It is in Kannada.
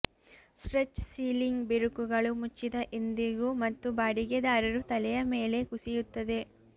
ಸ್ಟ್ರೆಚ್ ಸೀಲಿಂಗ್ ಬಿರುಕುಗಳು ಮುಚ್ಚಿದ ಎಂದಿಗೂ ಮತ್ತು ಬಾಡಿಗೆದಾರರು ತಲೆಯ ಮೇಲೆ ಕುಸಿಯುತ್ತದೆ